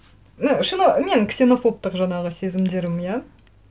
і мен ксенофобтық жаңағы сезімдерім иә